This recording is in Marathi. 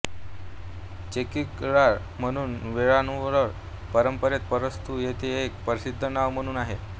चेक्किऴार म्हणून वेळ्ळाळर् परंपरेत प्रस्तुत येत एक प्रसिद्ध नांव म्हणून आहे